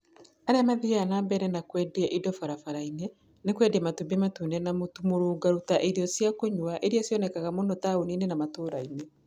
Arĩa mathiaga na mbere na kwendia indo barabara-inĩ nĩ kwendia matumbĩ matune na mũtu mũrũngarũ ta irio cia kũnyua iria cionekaga mũno taũni-inĩ na matũũra-inĩ.